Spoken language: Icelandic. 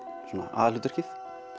aðalhlutverkið